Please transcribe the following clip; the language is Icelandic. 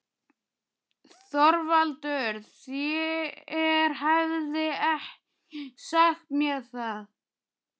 ÞORVALDUR: Þér hafið ekki sagt mér það.